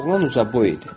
Oğlan uzun boy idi.